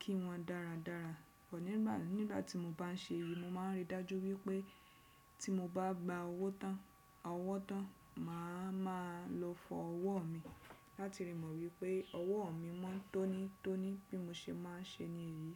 kí wọn dáradára pọ̀. Nígbà tí mo bá n ṣe èyí, mo máa n ríi dájú wípé tí mo bá gba ọwọ́ tán, màá ma lọ fọ ọwọ́ mi láti rí mọ wípé ọwọ́ mi mọ́n tónítóní bí mo ṣe máa n ṣe ní iyì.